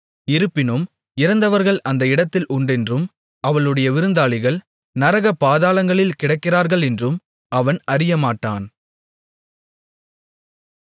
இருப்பினும் இறந்தவர்கள் அந்த இடத்தில் உண்டென்றும் அவளுடைய விருந்தாளிகள் நரக பாதாளங்களில் கிடக்கிறார்களென்றும் அவன் அறியமாட்டான்